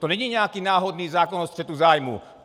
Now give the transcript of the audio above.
To není nějaký náhodný zákon o střetu zájmů.